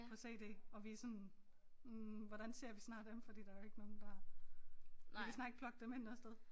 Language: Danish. På cd og vi sådan hm hvordan ser vi snart dem fordi der jo ikke nogen der vi kan snart ikke plugge dem ind noget sted